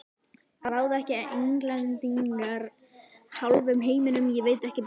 Ráða ekki Englendingar hálfum heiminum, ég veit ekki betur.